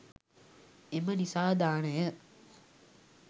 එම නිසා දානය